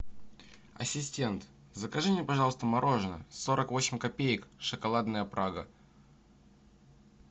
ассистент закажи мне пожалуйста мороженое сорок восемь копеек шоколадная прага